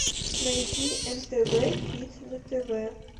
найди нтв хит на тв